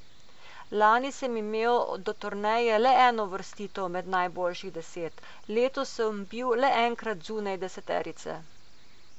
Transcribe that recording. Lani sem imel do turneje le eno uvrstitev med najboljših deset, letos sem bil le enkrat zunaj deseterice.